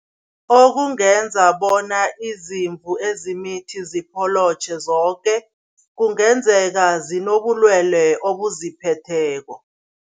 Okungenza bona izimvu ezimithi zopholotjhe zoke, kungenzeka zinobulwele obuziphetheko.